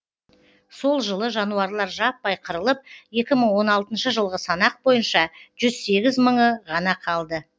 сол жылы жануарлар жаппай қырылып екі мың он алтыншы жылғы санақ бойынша жүз сегіз мыңы ғана қалды